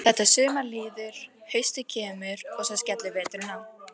Þetta sumar líður, haustið kemur og svo skellur veturinn á.